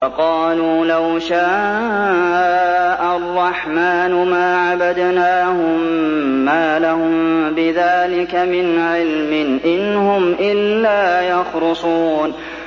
وَقَالُوا لَوْ شَاءَ الرَّحْمَٰنُ مَا عَبَدْنَاهُم ۗ مَّا لَهُم بِذَٰلِكَ مِنْ عِلْمٍ ۖ إِنْ هُمْ إِلَّا يَخْرُصُونَ